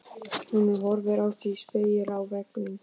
Hún horfði á sig í spegli á veggnum.